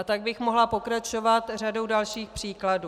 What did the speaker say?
A tak bych mohla pokračovat řadou dalších případů.